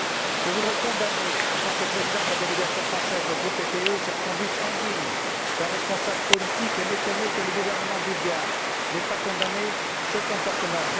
Je voudrais condamner, en tant que président de la délégation française au sein du groupe PPE, cette conduite indigne d'un responsable politique et m'étonner que le gouvernement bulgare n'ait pas condamné ce comportement.